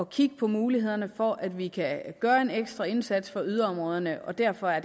kigge på mulighederne for at vi kan gøre en ekstra indsats for yderområderne og derfor er